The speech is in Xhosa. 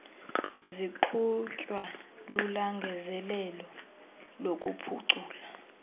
ziqhutywa lulangazelelo lokuphucula